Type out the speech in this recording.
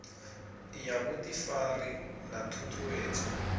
ya vhuḓifari na ṱhu ṱhuwedzo